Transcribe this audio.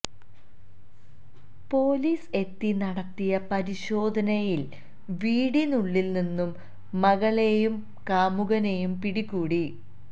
police എത്തി നടത്തിയ പരിശോധനയില് വീടിനുള്ളില് നിന്നും മകളെയും കാമുകനെയും പിടികൂടി